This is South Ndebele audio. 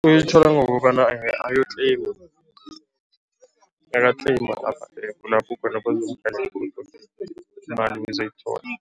Uyithola ngokobana ayotleyima, nakatleyima kulapho imali uzoyithola.